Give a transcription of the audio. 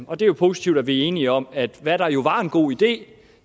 og det er jo positivt at vi er enige om at hvad der jo var en god idé